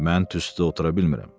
Mən tüstüdə otura bilmirəm.